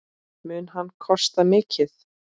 Mun hann kosta mikið?